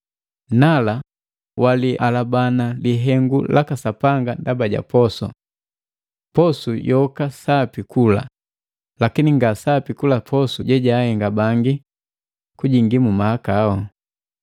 Nala walialabana lihengu laka Sapanga ndaba ja posu. Posu yoka sapi kula, lakini ngasapi kula posu jejahenga bangi kujingi mu mahakau.